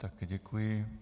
Také děkuji.